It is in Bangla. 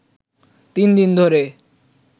তিন দিন ধরে